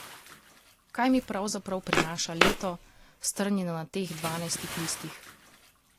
Kaj mi pravzaprav prinaša leto, strnjeno na teh dvanajstih listih?